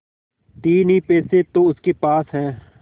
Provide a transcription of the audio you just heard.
तीन ही पैसे तो उसके पास हैं